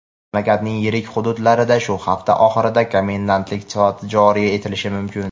mamlakatning yirik hududlarida shu hafta oxirida komendantlik soati joriy etilishi mumkin.